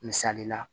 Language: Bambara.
Misali la